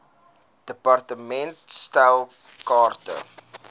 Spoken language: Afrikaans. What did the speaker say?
department stel kaarte